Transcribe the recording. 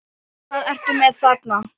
Hvað ertu með þarna?